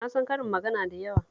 Na san karin magana da yawa